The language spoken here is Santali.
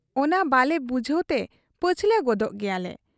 ᱚᱱᱟ ᱵᱟᱞᱮ ᱵᱩᱡᱷᱟᱹᱣᱛᱮ ᱯᱟᱹᱪᱷᱞᱟᱹ ᱜᱚᱫᱳᱜ ᱜᱮᱭᱟᱞᱮ ᱾